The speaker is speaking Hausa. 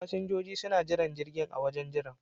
Fasinjoji suna jiran jirgin a wajen jiran.